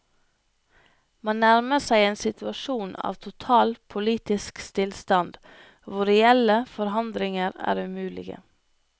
Man nærmer seg en situasjon av total politisk stillstand, hvor reelle forandringer er umulige.